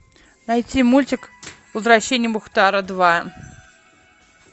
найти мультик возвращение мухтара два